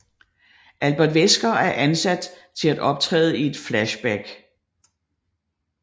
Albert Wesker er sat til at optræde i et flashback